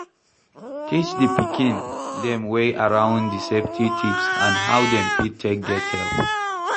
Teach di pikin dem wey around di safety tips and how dem fit take get help